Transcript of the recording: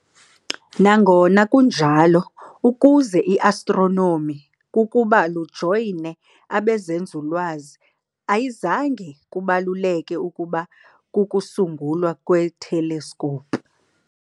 Nangona kunjalo, ukuze astronomi kukuba lujoyine bezenzululwazi ayizange kubaluleke kukuba kokusungulwa kweteleskopu.